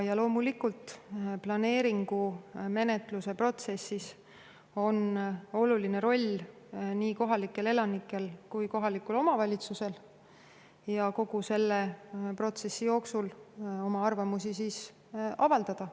Ja loomulikult on planeeringu menetluse protsessis oluline roll nii kohalikel elanikel kui ka kohalikul omavalitsusel – kogu selle protsessi jooksul saab oma arvamusi avaldada.